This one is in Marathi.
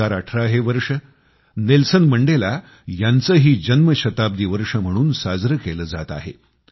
2018 हे वर्ष नेल्सन मंडेला यांचेही जनशताब्दी वर्ष म्हणून साजरे केले जात आहे